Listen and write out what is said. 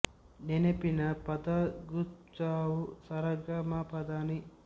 ನೆನಪಿನ ಪದಗುಚ್ಛವು ಸ ರ ಗ ಮ ಪ ದ ನಿ